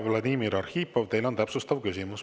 Vladimir Arhipov, teil on täpsustav küsimus.